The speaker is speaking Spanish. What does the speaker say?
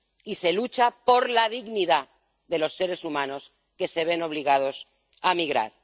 y se lucha por la dignidad de los seres humanos que se ven obligados a migrar.